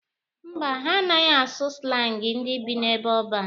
Mba, ha anaghị asụ slangi ndị bi n'ebe ọban.